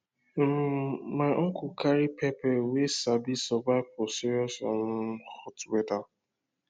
um my uncle carry pepper wey sabi survive for serious um hot weather